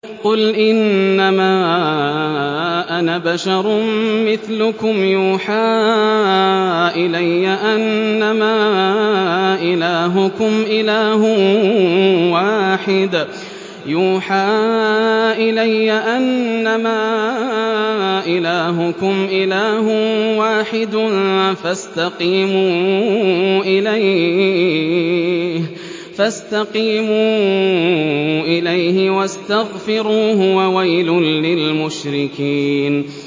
قُلْ إِنَّمَا أَنَا بَشَرٌ مِّثْلُكُمْ يُوحَىٰ إِلَيَّ أَنَّمَا إِلَٰهُكُمْ إِلَٰهٌ وَاحِدٌ فَاسْتَقِيمُوا إِلَيْهِ وَاسْتَغْفِرُوهُ ۗ وَوَيْلٌ لِّلْمُشْرِكِينَ